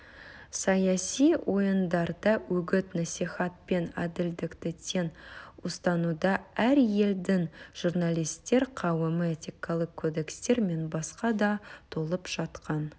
саяси ойындарда үгіт-насихат пен әділдікті тең ұстануда әр елдің журналистер қауымы этикалық кодекстер мен басқа да толып жатқан